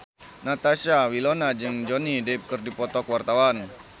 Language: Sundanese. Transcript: Natasha Wilona jeung Johnny Depp keur dipoto ku wartawan